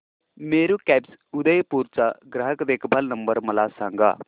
Meru cabs Udaipur चा ग्राहक देखभाल नंबर मला सांगा